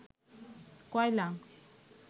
কয়লা